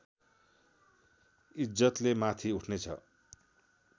ईज्जतले माथि उठ्ने छ